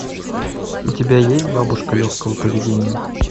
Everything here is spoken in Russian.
у тебя есть бабушка легкого поведения